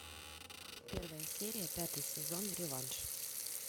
первая серия пятый сезон реванш